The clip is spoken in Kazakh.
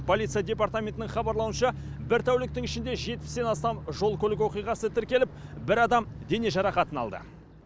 полиция департаментінің хабарлауынша бір тәуліктің ішінде жетпістен астам жол көлік оқиғасы тіркеліп бір адам дене жарақатын алды